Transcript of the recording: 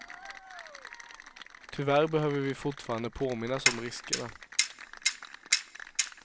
Tyvärr behöver vi fortfarande påminnas om riskerna.